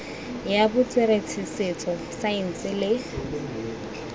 ya botsweretshi setso saense le